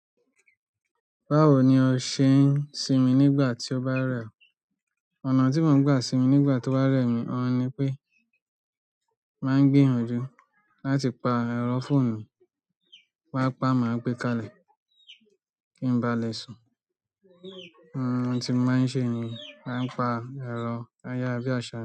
Báwo ni o ṣe ń sinmi nígbà tí o bá rẹ ọ? Ọ̀nà tí mo ń gbà sinmi nígbà to ba rẹ mi, ọ̀ ń ni pé, má ń gbi yanjù láti pa èrò foonumi. Ti n bá pá má gbé kalẹ̀ kí n ba lè sùn. Ohun tí mo má ń ṣe ni má ń pa èro ayàra bí aṣa.